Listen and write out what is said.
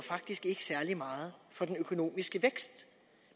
særlig meget for den økonomiske vækst